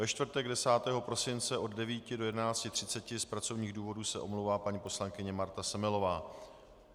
Ve čtvrtek 10. prosince od 9 do 11.30 z pracovních důvodů se omlouvá paní poslankyně Marta Semelová.